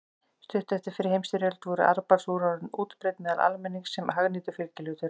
Stuttu eftir fyrri heimsstyrjöld voru armbandsúr orðin útbreidd meðal almennings sem hagnýtur fylgihlutur.